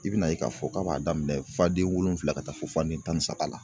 I bɛna ye k'a fɔ k'a b'a daminɛ fanden wolonfila ka taa fo fanden tan ni saba la